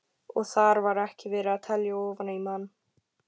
Og þar var ekki verið að telja ofan í mann.